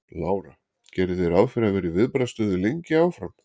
Lára: Gerið þið ráð fyrir að vera í viðbragðsstöðu lengi áfram?